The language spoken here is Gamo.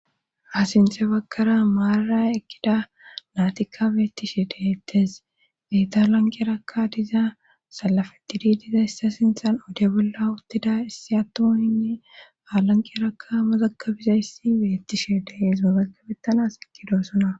Asinte bagkara maarara ekkida naatikka beettishe dehettes beetaalanqeerakka diza salafetidi diza issa sinthan ode bolla uttida issi attuoinne aalanqeerakka mozakabizayssi beettishe dehees mozagabettanas ikidoosona